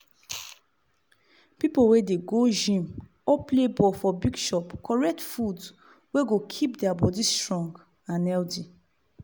pipu wey dey go gym or play ball for bigchop correct food wey go keep their body strong and healthy.